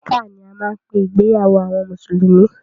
Nikkah ni a máa ń pé ìgbéyàwó àwọn mùsùlùmí.